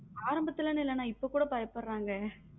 ஆரம்பத்துல இருந்து இல்லேன்னா இப்போ குட பயப்புடுரங்க.